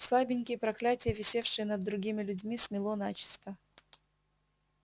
слабенькие проклятия висевшие над другими людьми смело начисто